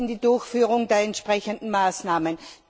in die Durchführung der entsprechenden Maßnahmen.